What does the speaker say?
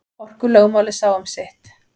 Orkulögmálið sá um sitt.